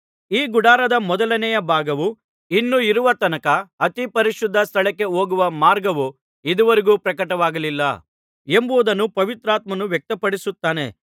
ಈ ಗುಡಾರದ ಮೊದಲನೆಯ ಭಾಗವು ಇನ್ನೂ ಇರುವ ತನಕ ಅತಿ ಪರಿಶುದ್ಧ ಸ್ಥಳಕ್ಕೆ ಹೋಗುವ ಮಾರ್ಗವು ಇದುವರೆಗೂ ಪ್ರಕಟವಾಗಲಿಲ್ಲ ಎಂಬುದನ್ನು ಪವಿತ್ರಾತ್ಮನು ವ್ಯಕ್ತಪಡಿಸುತ್ತಾನೆ